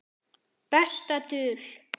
Besta dul